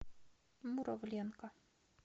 муравленко